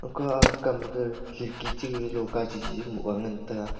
ka aa kam ga khidki cha gag loka chiji moh ga ngantaga.